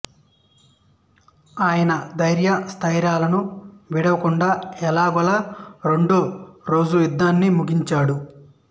అయినా ధైర్య స్థైర్యాలను విడువకుండా ఎలాగోలా రెండో రోజు యుద్ధాన్ని ముగించాడు